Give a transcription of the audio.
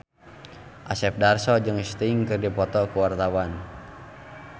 Asep Darso jeung Sting keur dipoto ku wartawan